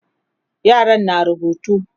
yaran na rubutu